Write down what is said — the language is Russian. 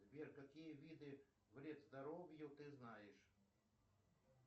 сбер какие виды вред здоровью ты знаешь